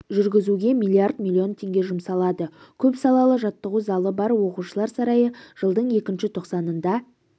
жүргізуге миллиард миллион теңге жұмсалады көп салалы жаттығу залы бар оқушылар сарайы жылдың екінші тоқсанында